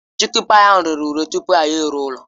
Chikịn payi ahụ rere ure tupu anyị eruo n'ụlọ